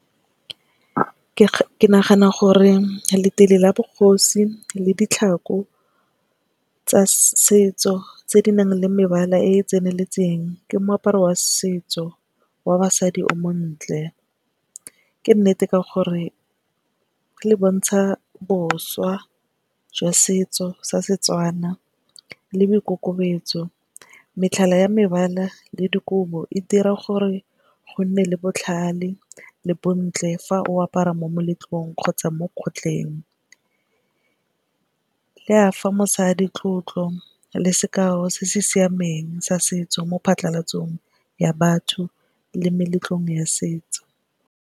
Ke nagana gore letele la bogosi le ditlhako tsa setso tse di nang le mebala e e tseneletseng, ke moaparo wa setso wa basadi o montle. Ke nnete ka gore e le bontsha boswa jwa setso sa setswana le boikokobetso. Metlhala ya mebala le dikobo e dira gore go nne le botlhale le bontle fa o apara mo moletlong kgotsa mo kgotleng. Fa mosadi tlotlo le sekao se se siameng sa setso mo patlhalatsong ya batho le meletlong ya setso.